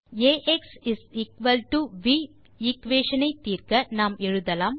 ax V equation ஐ தீர்க்க நாம் எழுதலாம்